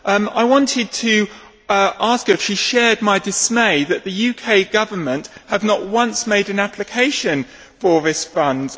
I wanted to ask her if she shared my dismay that the UK Government has not once made an application for risk funds.